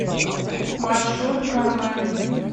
маршрут кармен